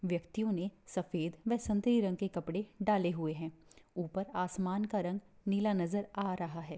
व्यक्तियों ने सफेद बसंती रंग के कपड़े डाले हुए हैं ऊपर आसमान का रंग नीला नजर आ रहा है।